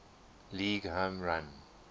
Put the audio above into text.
league home run